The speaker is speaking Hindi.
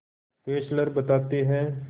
फेस्लर बताते हैं